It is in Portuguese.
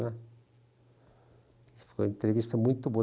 Foi uma entrevista muito boa.